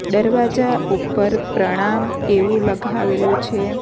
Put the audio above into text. દરવાજા ઉપર પ્રણામ એવું લગાવેલું છે.